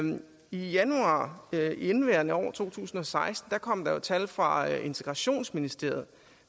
januar i indeværende år to tusind og seksten kom der tal fra integrationsministeriet